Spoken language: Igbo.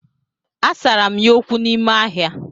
Asara m ya okwu n'ime ahịa